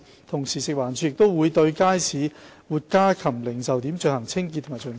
同時，食環署亦會對街市活家禽零售點進行清潔及巡查。